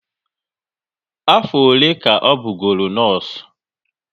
Afọ ole ka ọ bụ goro nọọsụ?